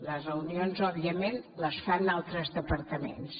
les reunions òbviament les fan a altres departaments